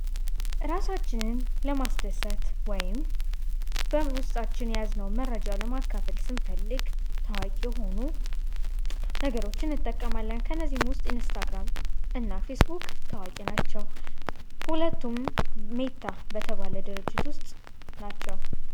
እራሳችንን ለማስደሰት ወይም ውስጣችን ያዝ ነውን መረጃው ለማካፍል ስንፈልክ ታዋቂ ሆኑ ነገሮችን ይጠቀማለን። ከነዚህም ውስጥ ኢንስታግራም እና ፌስቡክ ታዋቂ ናቸው ሁለቱም ሜታ በተባለ ድርጅት ውስጥ ናቸው።